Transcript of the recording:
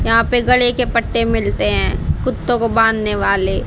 यहां पे गले के पट्टे मिलते हैं कुत्तों को बांधने वाले।